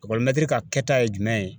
ka kɛta ye jumɛn ye